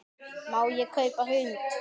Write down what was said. Má ég kaupa hund?